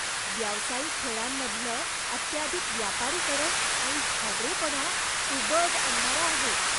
व्यावसायिक खेळांमधलं अत्याधिक व्यापारीकरण आणि हावरेपणा उबग आणणारा आहे.